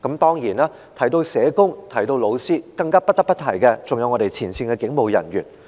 當然，提到社工和老師，更不得不提前線警務人員。